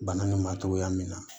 Bana nin ma togoya min na